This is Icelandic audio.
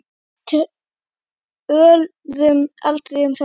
Við töluðum aldrei um þetta.